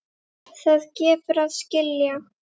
Það gefur að skilja.